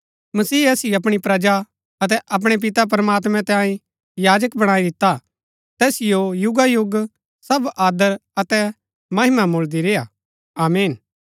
मसीह असिओ अपणी प्रजा अतै अपणै पिता प्रमात्मैं तांये याजक बणाई दिता तैसिओ युगायुग सब आदर अतै महिमा मुळदी रेय्आ आमीन